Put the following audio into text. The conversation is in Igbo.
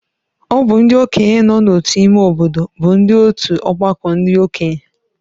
Ọ bụ ndị okenye nọ n’otu ime obodo bụ ndị otu ọgbakọ ndị okenye